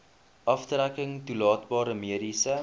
aftrekking toelaatbare mediese